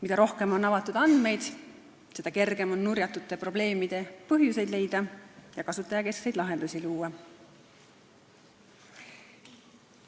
Mida rohkem on avatud andmeid, seda kergem on nurjatute probleemide põhjuseid leida ja kasutajakeskseid lahendusi luua.